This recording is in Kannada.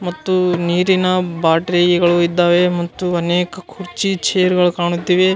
ಮತ್ತು ನೀರಿನ ಬಾಟ್ರಿಯಗಳು ಇದ್ದಾವೆ ಮತ್ತು ಅನೇಕ ಕುರ್ಚಿ ಚೇರ್ಗಳು ಕಾಣುತ್ತಿವೆ .